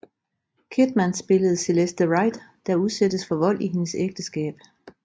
Kidman spiller Celeste Wright der udsættes for vold i hendes ægteskab